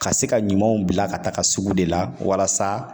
Ka se ka ɲumanw bila ka taga sugu de la walasa